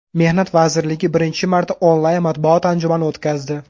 Mehnat vazirligi birinchi marta onlayn matbuot anjumani o‘tkazdi.